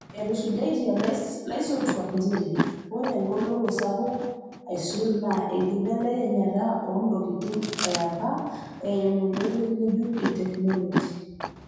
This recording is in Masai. Etusujaitia laisotuak njere oree egoloto sapuk aisul naa enkibelekenyata oontokitin eapa eeimu enkoitoi ngejuk e teknoloji.